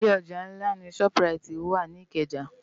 Ilé òjá nlá ni ṣòp ráiti wá ni Ikeja